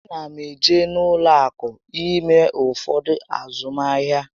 A na m eje n'ụlọ akụ ime ụfọdụ azụmahịa